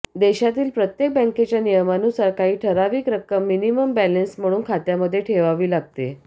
देशातील प्रत्येक बँकेच्या नियमानुसार काही ठराविक रक्कम मिनिमम बॅलेन्स म्हणून खात्यामध्ये ठेवावी लागते